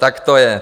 Tak to je.